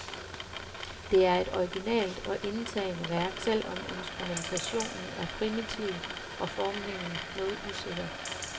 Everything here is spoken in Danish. Det er et originalt og indtagende værk, selv om instrumentationen er primitiv og formningen noget usikker.